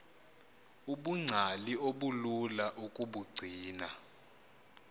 ubungcali obulula ukubugcina